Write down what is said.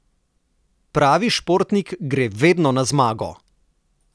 Pravi športnik gre vedno na zmago!